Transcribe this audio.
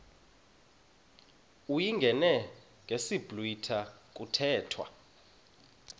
uyingene ngesiblwitha kuthethwa